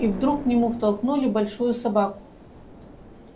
и вдруг к нему втолкнули большую собаку